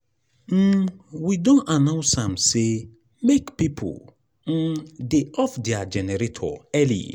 um we don announce am sey make pipo um dey off their generator early.